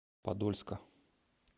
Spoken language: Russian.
подольска